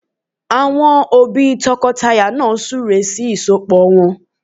Àwọn òbí tọkọtaya náà súre sí ìsọpọ̀ wọn